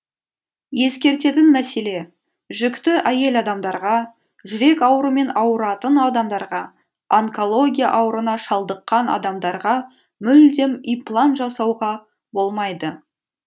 ескертетін мәселе жүкті әйел адамдарға жүрек аурымен аурытан адамдарға онкология аурына шалдыққан адамдарға мүлдем имплант жасауға болмайды